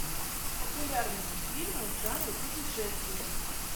популярные фильмы в жанре путешествие